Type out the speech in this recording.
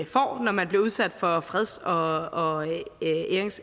får når man bliver udsat for freds og